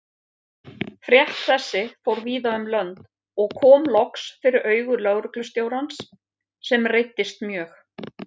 Frétt þessi fór víða um lönd og kom loks fyrir augu lögreglustjórans, sem reiddist mjög.